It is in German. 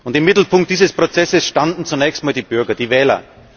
Im Mittelpunkt dieses Prozesses standen zunächst einmal die Bürger, die Wähler.